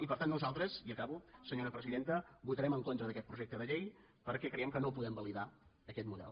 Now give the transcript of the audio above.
i per tant nosaltres i acabo senyora presidenta votarem en contra d’aquest projecte de llei perquè creiem que no podem validar aquest model